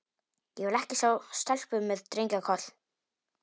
Ég vil ekki sjá stelpu með drengja- koll.